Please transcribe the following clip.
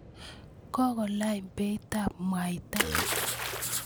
kokolany beitab mwaita